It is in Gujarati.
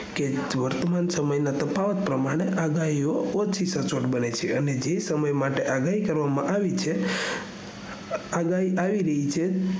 વર્તમાન સમય ના તફાવત ને પરિણામે આગાહીઓ ઓછી સચોટ બને છે જે સમય માટે આગાહી કરવામાં આવીછે આગાહી આવી રહી છે